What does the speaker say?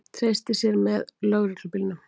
Treysti sér með lögreglubílnum